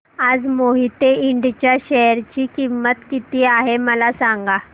आज मोहिते इंड च्या शेअर ची किंमत किती आहे मला सांगा